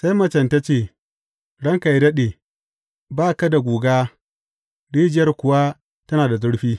Sai macen ta ce, Ranka yă daɗe, ba ka da guga rijiyar kuwa tana da zurfi.